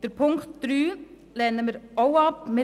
Ziffer 3 lehnen wir ebenfalls ab.